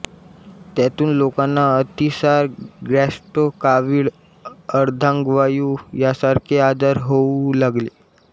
त्यातून लोकांना अतिसार गॅस्ट्रो कावीळ अर्धांगवायू यांसारखे आजार होऊ लागले